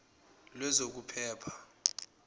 lwezokuphepha